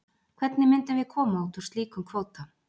Hvernig myndum við koma út úr slíkum kvóta?